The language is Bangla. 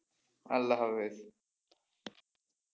আল্লাহ হাফেজ,